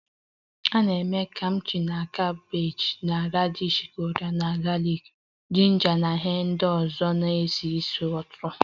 A na-eme Kimchi na kabeeji na radishi Korea na galiki, jinja na ihe ndị ọzọ na-esi ísì ụtọ